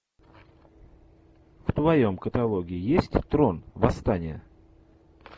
в твоем каталоге есть трон восстание